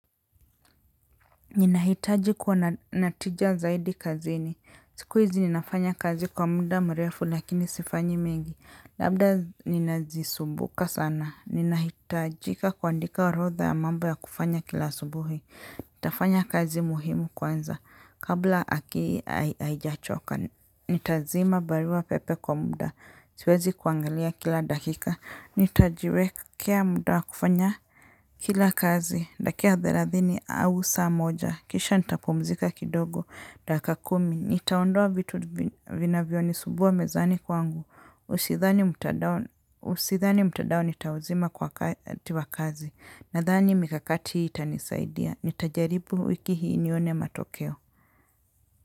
Ninahitaji kuwa natija zaidi kazini, siku hizi ninafanya kazi kwa muda mrefu lakini sifanyi mingi, labda ninajisumbuka sana, ninahitajika kuandika orodha ya mambo ya kufanya kila asubuhi, nitafanya kazi muhimu kwanza, kabla akili aijachoka, nitazima barua pepe kwa muda, siwezi kuangalia kila dakika, nitajiwekea muda kufanya kila kazi, ndakia therathini au saa moja. Kisha nitapumzika kidogo, dakika kumi, nitaondoa vitu vinavyo nisumbua mezani kwangu, usithani mtadao nitauzima kwa kazi, nadhani mikakati hii itanisaidia, nitajaribu wiki hii nione matokeo.